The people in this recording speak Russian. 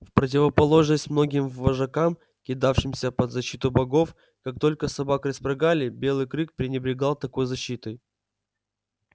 в противоположность многим вожакам кидавшимся под защиту богов как только собак распрягали белый клык пренебрегал такой защитой